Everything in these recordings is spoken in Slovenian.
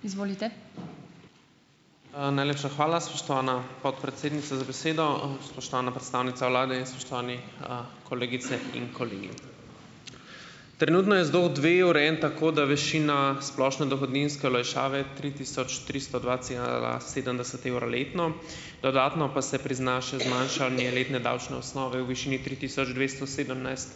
Najlepša hvala, spoštovana podpredsednica, za besedo. Spoštovana predstavnica vlade in spoštovani kolegice in kolegi! Trenutno je ZDO dve urejen tako, da večina splošne dohodninske olajšave tri tisoč tristo dva cela sedemdeset evra letno, dodatno pa se prizna še zmanjšanje letne davčne osnove v višini tri tisoč dvesto sedemnajst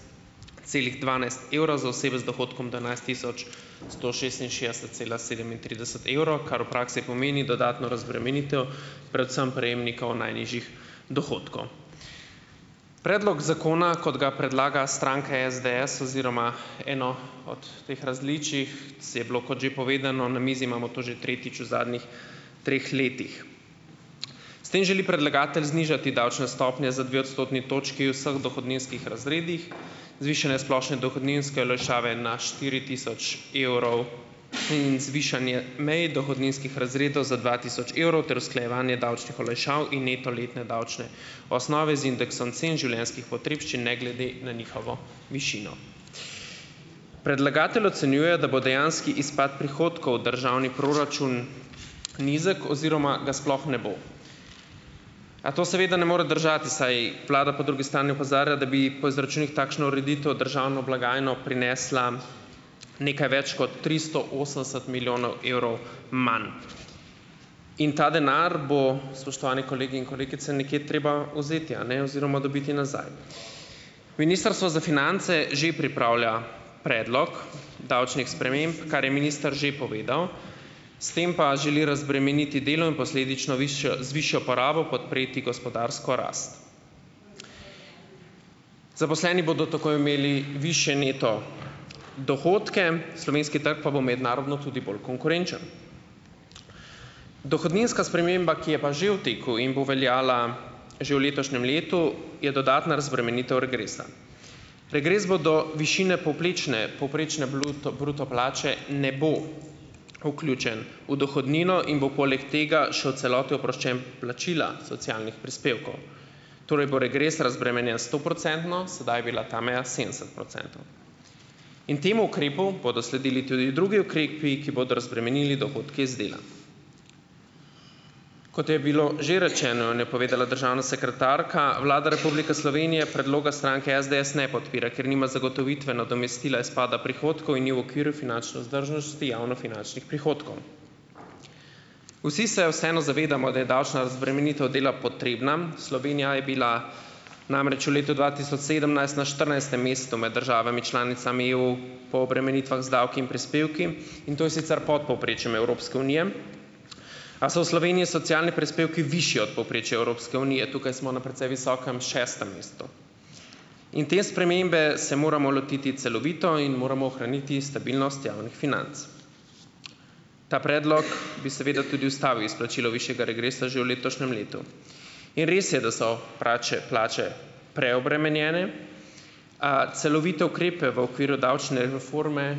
celih dvanajst evra za osebe z dohodkom do enajst tisoč sto šestinšestdeset cela sedemintrideset evrov, kar v praksi pomeni dodatno razbremenitev predvsem prejemnikov najnižjih dohodkov. Predlog zakona, kot ga predlaga stranka SDS oziroma eno od teh različnih, je bilo, kot že povedano, na mizi imamo to že tretjič v zadnjih treh letih. S tem želi predlagatelj znižati davčne stopnje za dve odstotni točki v vseh dohodninskih razredih, zvišanja splošne dohodninske olajšave na štiri tisoč evrov in zvišanje mej dohodninskih razredov za dva tisoč evrov ter usklajevanje davčnih olajšav in neto letne davčne osnove z indeksom cen življenjskih potrebščin ne glede na njihovo višino. Predlagatelj ocenjuje, da bo dejanski izpad prihodkov državni proračun nizek oziroma ga sploh ne bo. A to seveda ne more držati, saj vlada po drugi strani opozarja, da bi po izračunih takšna ureditev državno blagajno prinesla nekaj več kot tristo osemdeset milijonov evrov manj in ta denar bo, spoštovane kolegi in kolegice, nekje treba vzeti, a ne, oziroma dobiti nazaj. Ministrstvo za finance že pripravlja predlog davčnih sprememb, kar je minister že povedal, s tem pa želi razbremeniti delo in posledično višjo z višjo porabo podpreti gospodarsko rast. Zaposleni bodo tako imeli višje neto dohodke, slovenski trg pa bo mednarodno tudi bolj konkurenčen. Dohodninska sprememba, ki je pa že v teku in bo veljala že v letošnjem letu, je dodatna razbremenitev regresa. Regres bodo višine poplečne povprečne bluto bruto plače ne bo vključen v dohodnino in bo poleg tega še v celoti oproščen plačila socialnih prispevkov, torej bo regres razbremenjen stoprocentno, sedaj pa je bila ta meja sedemdeset procentov. In temu ukrepu bodo sledili tudi drugi ukrepi, ki bodo razbremenili dohodke iz dela. Kot je bilo že rečeno, in je povedala državna sekretarka, Vlada Republike Slovenije predloga stranke SDS ne podpira, ker nima zagotovitve nadomestila izpada prihodkov in ni v okviru finančne vzdržnosti javnofinančnih prihodkov. Vsi se vseeno zavedamo, da je davčna razbremenitev dela potrebna. Slovenija je bila namreč v letu dva tisoč sedemnajst na štirinajstem mestu med državami članicami EU po obremenitvah z davki in prispevki in to je sicer pod povprečjem Evropske unije, a so v Sloveniji socialni prispevki višji od povprečja Evropske unije, tukaj smo na precej visokem šestem mestu. In te spremembe se moramo lotiti celovito in moramo ohraniti stabilnost javnih financ. Ta predlog bi seveda tudi ustavil izplačilo višjega regresa že v letošnjem letu. In res je, da so prače plače preobremenjene, celovite ukrepe v okviru davčne reforme,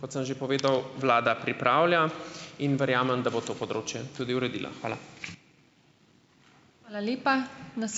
kot sem že povedal, vlada pripravlja in verjamem, da bo to področje tudi uredila. Hvala.